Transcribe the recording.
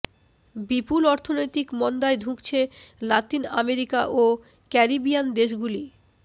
বিপুল অর্থনৈতিক মন্দায় ধুঁকছে লাতিন আমেরিকা ও ক্যারিবিয়ান দেশগুলি